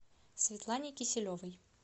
светлане киселевой